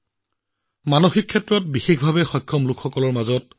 এই প্ৰতিযোগিতাত ভাৰতীয় দলটোৱে ৭৫টা স্বৰ্ণ পদককে ধৰি ২০০টা পদক লাভ কৰে